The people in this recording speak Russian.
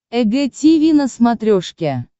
эг тиви на смотрешке